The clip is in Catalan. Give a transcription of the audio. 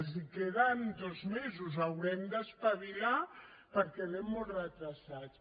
els queden dos mesos haurem d’espavilar perquè anem molt endarrerits